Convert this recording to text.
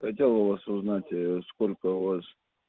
хотел у вас узнать сколько у вас